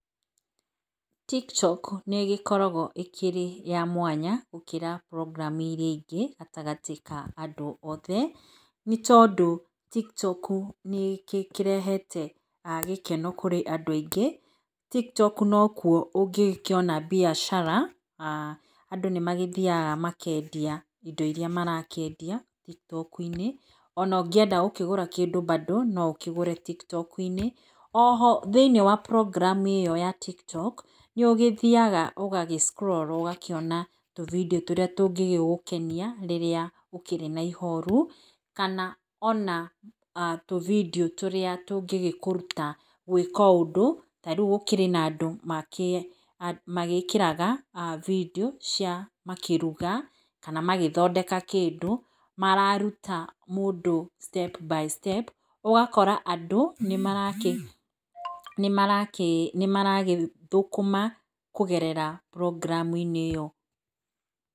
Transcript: TikTok nĩ ĩgĩkoragwo ĩkĩrĩ ya mwanya, gũkĩra program iria ingĩ, gatagatĩ ka andũ othe, nĩ tondũ TikTok nĩ ĩkĩrehete gĩkeno kũrĩ andũ aingĩ, TikTok nokuo ũngĩgĩkĩona mbiacara, na andũ nĩmagĩthiaga makendia indo iria marakĩendia, TikTok-inĩ, ona ũngĩenda kũgũra kĩndũ, mbandũ no ũkĩgũre TikTok - inĩ. Oho thĩinĩ wa program ĩyo ya TikTok, yũkĩte, nĩũgĩthiaga ũgagĩ scroll rũbindio tũrĩa tũngĩgũkenia, rĩrĩa ũkĩrĩ na ihoru, kana ona tũbindio tũrĩa tũngĩgĩkũruta gũĩka ũndũ. Yarĩu kwĩna andũ magĩkĩraga bindio cia makĩruga, kana magĩthondeka kĩndũ, mararuta mũndũ, step by step ũgakora andũ nĩmaragĩthũka kũgerera program -inĩ.